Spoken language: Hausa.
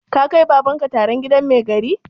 Ka kai Baban ka taron gidan mai gari?